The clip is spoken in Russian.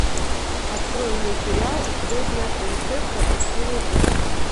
открой мне сериал звездная принцесса и силы зла